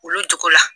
Olu jogo la